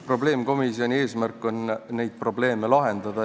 Probleemkomisjoni eesmärk on probleeme lahendada.